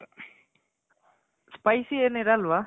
spicy ಏನು ಇರಲ್ವ